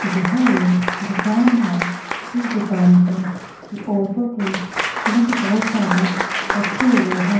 यह एक दुकान है इस दुकान पर औरतों के सूट बहोत सारे रखे हुए हैं।